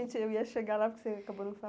É, gente, eu ia chegar lá porque você acabou não